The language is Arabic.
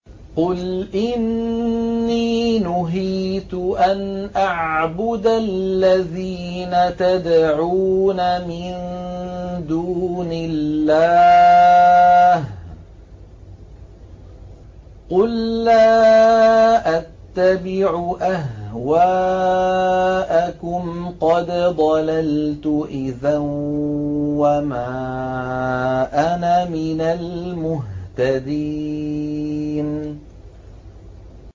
قُلْ إِنِّي نُهِيتُ أَنْ أَعْبُدَ الَّذِينَ تَدْعُونَ مِن دُونِ اللَّهِ ۚ قُل لَّا أَتَّبِعُ أَهْوَاءَكُمْ ۙ قَدْ ضَلَلْتُ إِذًا وَمَا أَنَا مِنَ الْمُهْتَدِينَ